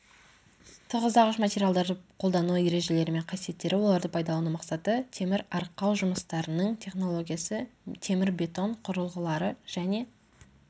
тығыздағыш материалдарды қолдану ережелері мен қасиеттері оларды пайдалану мақсаты темір арқау жұмыстарының технологиясы темірбетон құрылғылары және